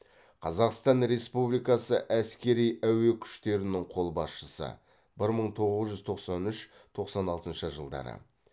қазақстан республикасы әскери әуе күштерінің қолбасшысы бір мың тоғыз жүз тоқсан үш тоқсан алтыншы жылдары